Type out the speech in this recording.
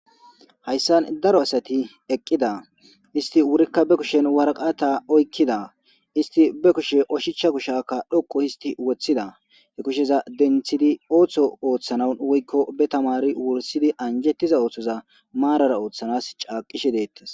Haysan daro asati eqida eeti wurika ba kushen waraqata oykida isti ba kisheyka ushacha kushe loqu oothida kusheza denthidi ootho othanawu woyko be tamaare wursidi anjetida oosota marara oothanas caaqishe deetes.